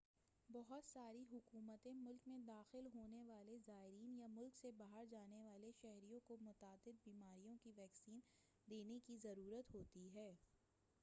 بہت ساری حکومتیں ملک میں داخل ہونے والے زائرین یا ملک سے باہر جانے والے شہریوں کو متعدد بیماریوں کی ویکسین دینے کی ضرورت ہوتی ہے